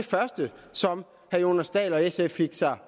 første som herre jonas dahl og sf fik